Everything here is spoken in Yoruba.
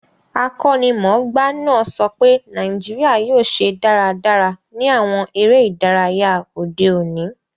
Akọ́nimọ̀gbá náà sọpé Naijiria yio se dáradára ni àwon eré ìdáriya òde òní